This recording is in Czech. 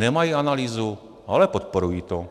Nemají analýzu, ale podporují to,